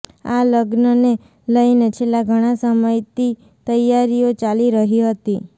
આ લગ્નને લઇને છેલ્લા ઘણા સમયતી તૈયારીઓ ચાલી રહી હતી